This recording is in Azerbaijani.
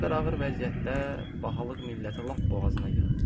Ölkə bu qədər ağır vəziyyətdə, bahalıq millətə lap boğazına yığıb.